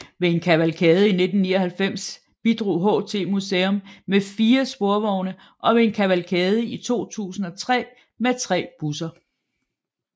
Ved en kavalkade i 1999 bidrog HT Museum med fire sporvogne og ved en kavalkade i 2003 med tre busser